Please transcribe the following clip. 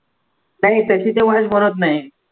नाही त्याची तेवढीचं नाही